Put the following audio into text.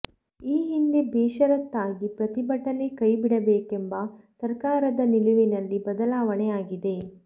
ಈ ಹಿಂದೆ ಬೇಷರತ್ತಾಗಿ ಪ್ರತಿಭಟನೆ ಕೈಬಿಡಬೇಕೆಂಬ ಸರ್ಕಾರದ ನಿಲುವಿನಲ್ಲಿ ಬದಲಾವಣೆ ಆಗಿದೆ